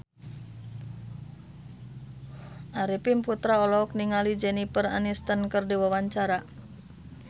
Arifin Putra olohok ningali Jennifer Aniston keur diwawancara